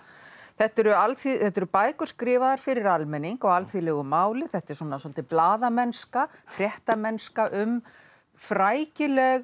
þetta eru þetta eru bækur skrifaðar fyrir almenning á alþýðulegu máli þetta er svolítil blaðamennska fréttamennska um frækileg